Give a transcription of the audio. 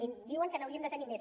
i diuen que n’hauríem de tenir més